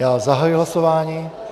Já zahajuji hlasování.